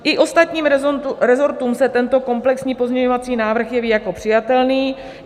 I ostatním resortům se tento komplexní pozměňovací návrh jeví jako přijatelný.